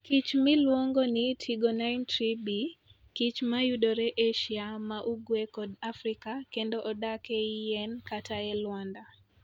Kich miluongo ni Trigonine Tree Bee: kich mayudore Asia ma ugwe kod Afrika kendo odak ei yien kata e lwanda.